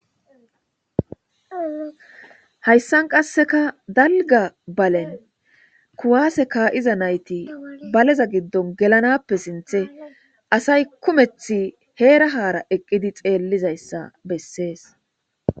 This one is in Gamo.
Hayssan qasseka dalga balen kuwase ka'iza nayti baleza giddon gelanappe sinthe asay kumethi heera haara eqqidi xeellizayssa bessees.